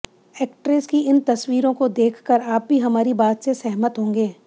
actress की इन तस्वीरों को देखकर आप भी हमारी बात से सहमत होंगे